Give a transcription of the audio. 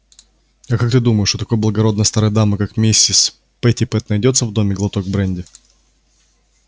а как ты думаешь у такой благородной старой дамы как миссис питтипэт найдётся в доме глоток бренди